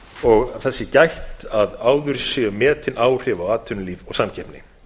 og að þess sé gætt að áður séu metin áhrif á atvinnulíf og samkeppni